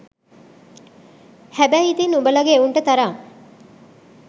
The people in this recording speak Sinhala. හැබැයි ඉතින් උබලගේ එවුන්ට තරම්